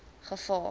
gevaar